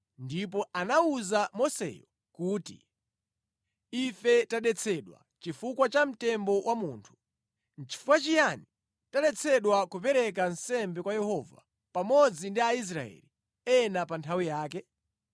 ndipo anawuza Moseyo kuti, “Ife tadetsedwa chifukwa cha mtembo wa munthu. Nʼchifukwa chiyani taletsedwa kupereka nsembe kwa Yehova pamodzi ndi Aisraeli ena pa nthawi yake?”